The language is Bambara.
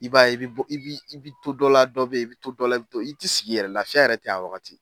I b'a ye i bɛ bɔ i bi bi bɛ to dɔ la dɔ bɛ ye i bɛ to dɔ la i t'i sigi yɛrɛ laafiya yɛrɛ tɛ ye a wagati.